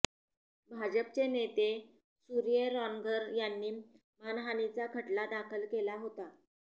भाजपचे नेते सुर्य रॉन्घर यांनी मानहानीचा खटला दाखल केला होता